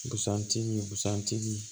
Busan tigi busan tigi